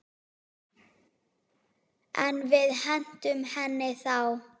En við hentum henni þá.